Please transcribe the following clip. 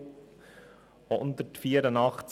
Des Weiteren sind unter Artikel 184 b Absatz 1 (neu)